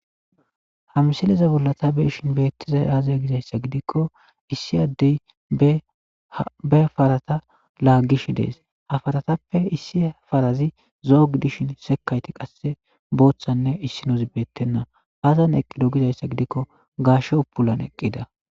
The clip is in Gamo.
ha misileza bollata beshin beettiza aaza gizayssa gidikko issi addey be farata laagish dees ha faratappe issi farazi zoog dishin sekayti qasse booththanne issino zibettenna haazan eqqido gizayssa gidikko gaashe upulan eqqida